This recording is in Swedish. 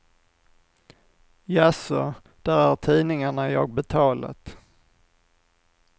Jaså, där är tidningarna jag betalat.